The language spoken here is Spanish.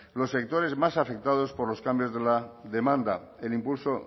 los sectores más afectados por los cambios de la demanda el impulso